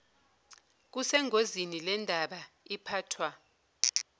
kusengozini lendaba iphathwa